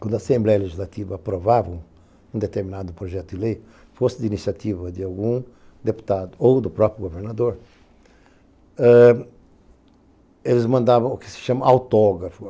quando a Assembleia Legislativa aprovava um determinado projeto de lei, fosse de iniciativa de algum deputado ou do próprio governador, eles mandavam o que se chama autógrafo.